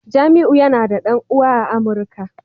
Jamiu yana da dan uwa a amuka